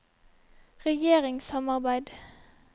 regjeringssamarbeid